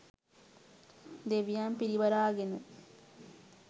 දෙවියන් පිරිවරාගෙන